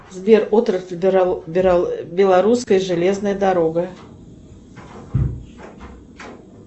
сбер отрасль белорусская железная дорога